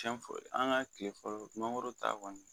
Tiɲɛ an ka tile fɔlɔ mangoro ta kɔni